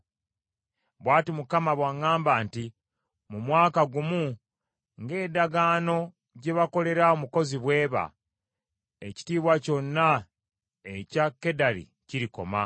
Bw’ati Mukama bw’aŋŋamba nti, “Mu mwaka gumu, ng’endagaano gye bakolera omukozi bw’eba, ekitiibwa kyonna ekya Kedali kirikoma.